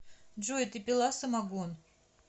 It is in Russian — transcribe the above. джой ты пила самогон